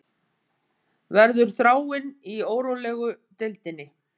Verður Þráinn í órólegu deildinni